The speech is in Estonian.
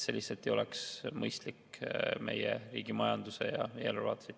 See lihtsalt ei oleks mõistlik meie riigi majanduse ja eelarve vaates.